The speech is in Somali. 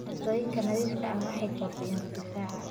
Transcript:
Cuntooyinka nadiifka ah waxay kordhiyaan difaaca.